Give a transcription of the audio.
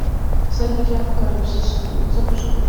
всадники апокалипсиса запускай